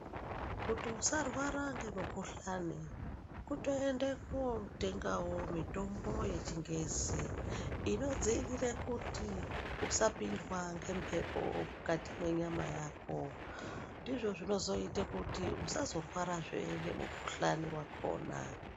Kuti usarwara ngemukuhlani kutoende kotengawo mitombo yechingezi inodzivirira kuti usapindwa ngembepo mukati menyama yako ndizvo zvinozoita kuti usazorwara zvee ngemukuhlani wakhona.